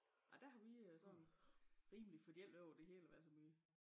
Ej der har vi øh sådan rimelig fordeling over det hele i hver så min